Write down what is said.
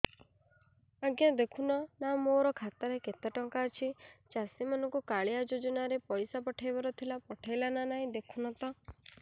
ଆଜ୍ଞା ଦେଖୁନ ନା ମୋର ଖାତାରେ କେତେ ଟଙ୍କା ଅଛି ଚାଷୀ ମାନଙ୍କୁ କାଳିଆ ଯୁଜୁନା ରେ ପଇସା ପଠେଇବାର ଥିଲା ପଠେଇଲା ନା ନାଇଁ ଦେଖୁନ ତ